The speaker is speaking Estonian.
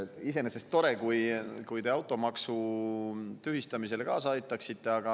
Iseenesest tore, kui te automaksu tühistamisele kaasa aitaksite.